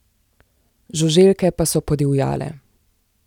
Žuželke pa so podivjale.